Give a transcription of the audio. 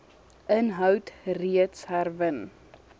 inhoud reeds herwin